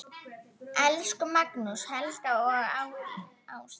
Elsku Magnús, Helga og Ásdís.